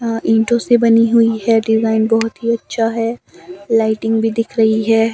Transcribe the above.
अ ईंटों से बनी हुई है डिजाइन बहोत ही अच्छा है लाइटिंग भी दिख रही है।